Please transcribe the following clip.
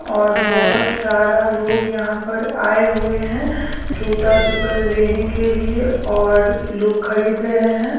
और बहोत सारा लोग यहां पर आये हुए हैं जूता चप्पल लेने के लिए और लोग खरीद रहे हैं।